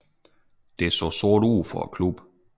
Det så sort ud for klubben